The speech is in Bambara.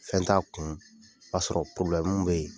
Fɛn t'a kun b'a sɔrɔ bɛ ye.